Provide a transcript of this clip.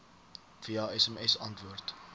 via sms antwoord